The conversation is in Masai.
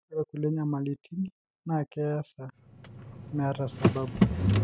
ore kulie nyamalitini naa keesa meeta sababu.